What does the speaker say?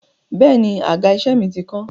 Bẹ́è ni, àga-iṣẹ́ mi ti kán.